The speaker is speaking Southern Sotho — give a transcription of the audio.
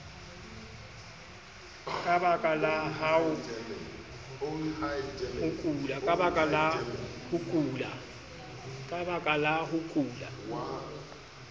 ka baka la ho kula